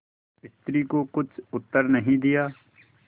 स्त्री को कुछ उत्तर नहीं दिया